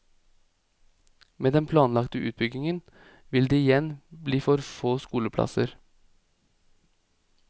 Men med den planlagte utbyggingen vil det igjen bli for få skoleplasser.